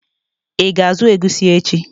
Ị ga azụ egusi echi?